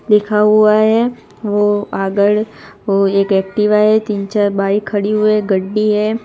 लिखा हुआ है वो आगड़ वो एक एक्टिवा है तीन चार बाइक खड़ी हुए गड्डी है।